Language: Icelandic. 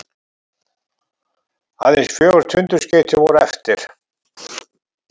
Aðeins fjögur tundurskeyti voru eftir.